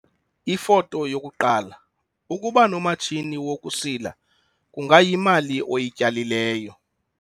Ifoto 1- Ukuba nomatshini wokusila kungayimali oyityalileyo.